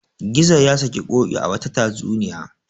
Gizo ya saki Ƙoƙi a wata tatsuniya.